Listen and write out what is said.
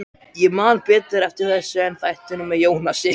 Ég man betur eftir þessu en þættinum með Jónasi.